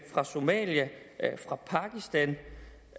somalia og pakistan